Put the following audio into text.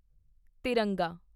ਤਿਰੰਗਾ